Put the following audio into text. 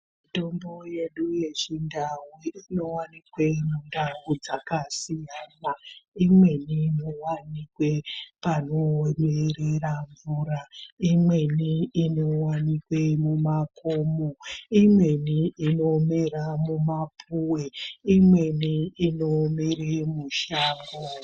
Mitombo yedu yechindau inovanikwavo mundau dzakasiyana imweni inovanikwe panoerera mvura, imweni inovanike mumakomo, imweni nomera mumapuve, imweni inomera mushango.